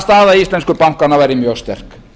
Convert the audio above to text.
staða íslensku bankanna væri mjög sterk